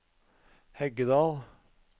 Heggedal